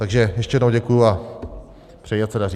Takže ještě jednou děkuji a přeji, ať se daří.